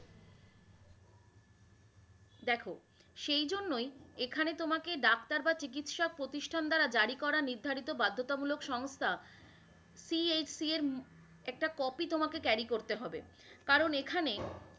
দেখ সেইজন্যই এখানে তোমাকে ডাক্তার বা চিকিৎসা প্রতিষ্ঠান দ্বারা জারিকরা নির্ধারিত বাধ্যতামূলক সংস্থা CHC এর একটা copy তোমাকে carry করতে হবে, কারন এখানে